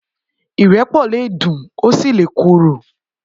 Irẹpọ lé dún ó si lé kóró